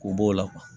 K'o b'o la